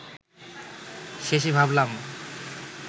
শেষে ভাবলাম